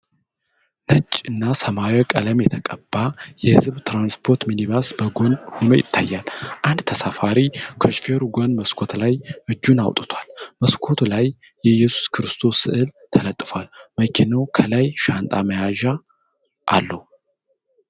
ነጭና ሰማያዊ ቀለም የተቀባ የህዝብ ትራንስፖርት ሚኒባስ በጎን ሆኖ ይታያል። አንድ ተሳፋሪ ከሾፌሩ ጎን መስኮት ላይ እጁን አውጥቷል። በመስኮቱ ላይ የኢየሱስ ክርስቶስ ሥዕል ተለጥፏል፤ መኪናው ከላይ ሻንጣ መያዣ አለው።